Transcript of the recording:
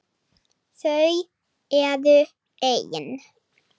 Þau eru ein.